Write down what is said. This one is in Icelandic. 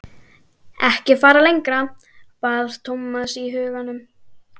Ekki fara lengra, bað Thomas í huganum.